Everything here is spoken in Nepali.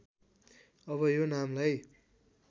अब यो नामलाई